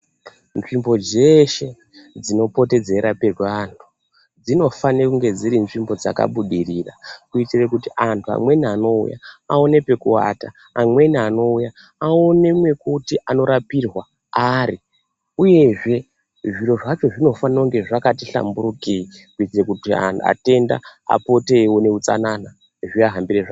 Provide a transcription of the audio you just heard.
Nzvimbo dzeshe dzinopote dzeirapirwe antu dzi nofane kunge dziri nzvimbo dzakabudirira kuitire kuti antu amwrni anouya aone pekuwata amweni anouya aone mwekuti anorapirwa ari uye zviro zvacho zvinofana zvakati hlamburukei kuite kuti atenda apote eiona utsanana zviaahambire zvakanaka.